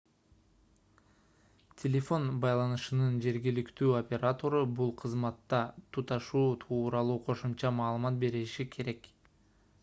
телефон байланышынын жергиликтүү оператору бул кызматка туташуу тууралуу кошумча маалымат бериши керек